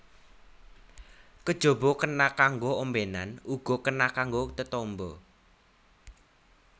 Kajaba kena kanggo ombènan uga kena kanggo tetamba